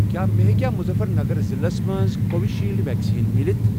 کیٛاہ مےٚ ہیٚکیا مُظفر نَگر ضلعس مَنٛز کووِشیٖلڈ ویکسیٖن مِلِتھ؟